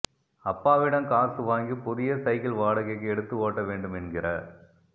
அப்பாவிடம் காசு வாங்கி புதிய சைக்கிள் வாடகைக்கு எடுத்து ஓட்ட வேண்டுமென்கிற